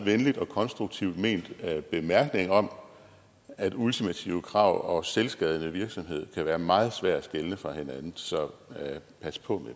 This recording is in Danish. venligt og konstruktivt ment bemærkning om at ultimative krav og selvskadende virksomhed kan være meget svære at skelne fra hinanden så pas på